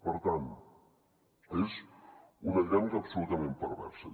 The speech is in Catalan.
per tant és una dinàmica absolutament perversa